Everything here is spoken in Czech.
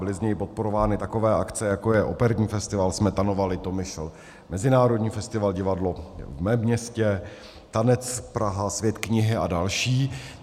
Byly z něj podporovány takové akce, jako je operní festival Smetanova Litomyšl, mezinárodní festival Divadlo v mém městě, Tanec Praha, Svět knihy a další.